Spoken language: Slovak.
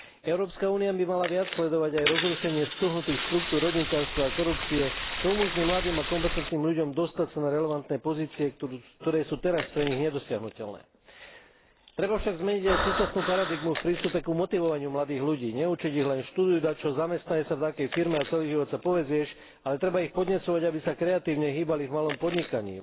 Európska únia by mala viac sledovať aj rozrušenie stuhnutých štruktúr rodinkárstva a korupcie, čo umožní mladým a kompetentným ľuďom dostať sa na relevantné pozície, ktoré sú teraz pre nich nedosiahnuteľné. Treba však zmeniť aj súčasnú paradigmu v prístupe k motivovaniu mladých ľudí, neučiť ich len študuj dačo, zamestnaj sa v dakej firme a celý život sa povezieš, ale treba ich podnecovať, aby sa kreatívne hýbali v malom podnikaní.